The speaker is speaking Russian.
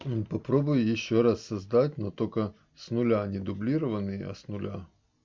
ну попробуй ещё раз создать но только с нуля а не дублированный а с нуля